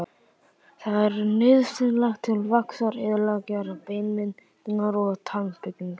Það er nauðsynlegt til vaxtar, eðlilegrar beinmyndunar og tannbyggingar.